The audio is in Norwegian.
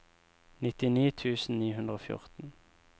nittini tusen ni hundre og fjorten